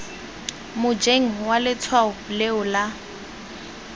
mojeng wa letshwao leo la